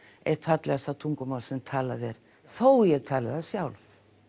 eitt fallegasta tungumál sem talað er þó ég tali það sjálf